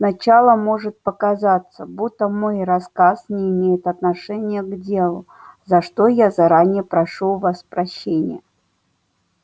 сначала может показаться будто мой рассказ не имеет отношения к делу за что я заранее прошу у вас прощения